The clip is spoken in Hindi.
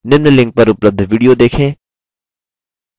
निम्न link पर उपलब्ध video देखें